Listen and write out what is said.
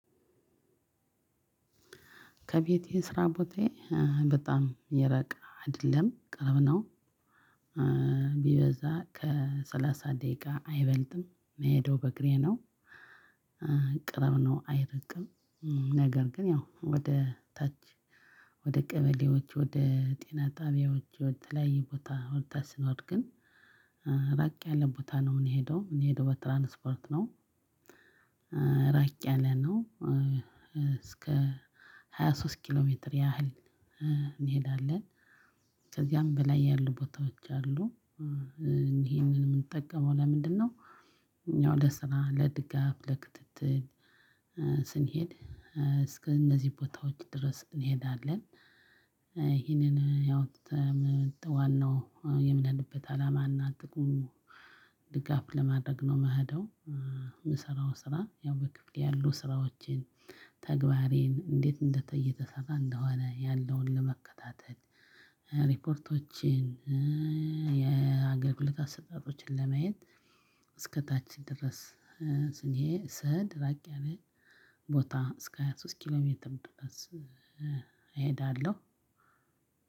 ከቤቴ ስራ ቦታዬ በጣም የራቀ አይደለም፤ ቅርብ ነው፤ ቢበዛ ከሰላሳ ደቂቃ አይበልጥም፤ ምሄደው በእግሬ ነው፤ ቅርብ ነው አይርቅም፤ ነገር ግን፣ ያው ወደ ታች ወደ ቀበሌዎች፣ ወደ ጤና ጣቢያዎች፣ ወደ ተለያያዩ ቦታ ወደታች ስንወድ ግን ራቅ ያለ ቦታ ነው የምንሄደው፤ ምንሄደው በትራንስፖርት ነው፤ ራቅ ያለ ነው እስከ ሃያ ሶስት ኪሎ ሜትር ያህል እንሄዳለን፤ ከዚያም በላይ ያሉ ቦታዎች አሉ፤ ይሄንን የምንጠቀመው ለምንድነው፤ ያው ለስራ፣ ለድጋፍ፣ ለክትትል፣ ስንሄድ እስከ እነዚህ ቦታዎች ድረስ እንሄዳለን፤ ይሄንን ዋናው የማጣንበት አላማ እና ጥቅሙ ድጋፍ ለማድረግ ነው ምሄደው፤ ምሰራው ስራ ያው በክፍሌ ያሉ ስራዎቼን፣ ተግባሬን፣ እንዴት እንደ እየተሰራ እንደሆነ ያለውን ለመከታተል፤ ሪፖርቶችን፤ የአገልግሎት አሰጣጦችን ለማየት እስከታችን ድረስ ስሄድ፤ ራቅ ያለ ቦታ እስከ ሃያ ሶስት ኪሎ ሜትም ድረስ እሄዳለሁ፤